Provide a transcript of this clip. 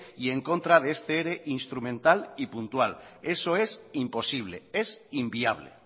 y en contra de este ere instrumental y puntual eso es imposible es inviable